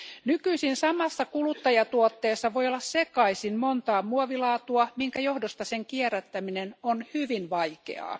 Nykyisin samassa kuluttajatuotteessa voi olla sekaisin montaa muovilaatua, minkä johdosta sen kierrättäminen on hyvin vaikeaa.